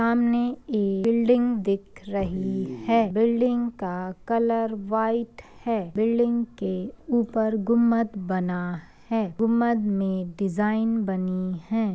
सामने एक बिल्डिंग दिख रही है। बिल्डिंग का कलर व्हाइट है। बिल्डिंग के ऊपर गुम्मद बना है। गुम्मद में डिज़ाइन बनी है।